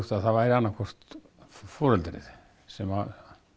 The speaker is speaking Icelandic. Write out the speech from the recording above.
að það væri annað hvort foreldrið sem